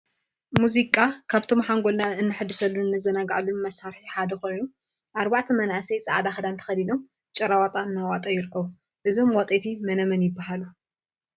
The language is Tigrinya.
ሙዚቃ ሙዚቃ ካብቶም ሓንጎልና እነሐድሰሉን እነዘናግዐሉ መሳር ሓደ ኮይኑ፤ አርባዕተ መናእሰይ ፃዕዳ ክዳን ተከዲኖም ጭራዋጣ እናዋጠዩ ይርከቡ፡፡ እዞም ዋጠይቲ መነመን ይበሃሉ?